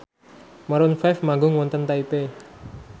Maroon 5 manggung wonten Taipei